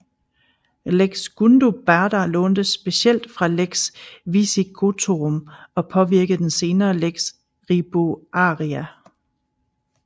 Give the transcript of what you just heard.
Lex Gundobada lånte specielt fra Lex Visigothorum og påvirkede den senere Lex Ribuaria